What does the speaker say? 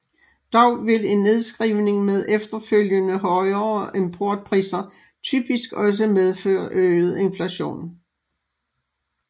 Dog vil en nedskrivning med efterfølgende højere importpriser typisk også medføre øget inflation